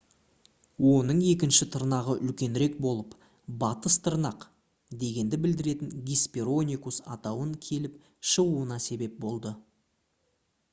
оның екінші тырнағы үлкенірек болып «батыс тырнақ» дегенді білдіретін hesperonychus атауын келіп шығуына себеп болды